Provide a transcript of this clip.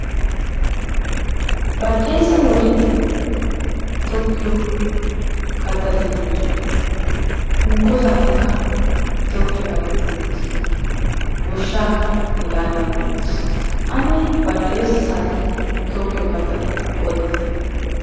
Baxxeesa wode tokkiyo kattati de'oosona. Hunkko saatiyankka tokkiyo kattati doosona. Goshshaakka hegaadan goyettees. Ane baxxeesa saatiyan tokkiyo kattata odite.